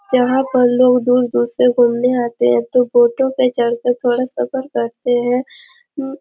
यहाँ पर लोग दूर-दूर से घूमे आते हैं तो बोटो पे चढ़कर थोड़ा सफर करते हैं उ--